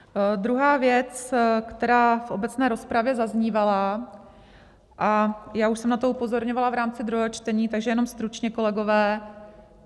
Druhá věc, která v obecné rozpravě zaznívala, a já už jsem na to upozorňovala v rámci druhého čtení, takže jenom stručně, kolegové.